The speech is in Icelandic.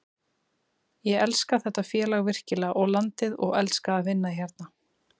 Ég elska þetta félag virkilega og landið og elska að vinna hérna.